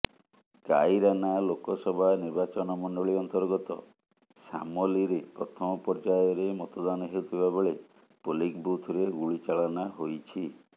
କାଇରାନା ଲୋକସଭା ନିର୍ବାଚନମଣ୍ଡଳୀ ଅର୍ନ୍ତଗତ ଶାମଲୀରେ ପ୍ରଥମ ପର୍ଯ୍ୟାୟରେ ମତଦାନ ହେଉଥିବା ବେଳେ ପୋଲିଂ ବୁଥରେ ଗୁଳିଚାଳନା ହୋଇଛି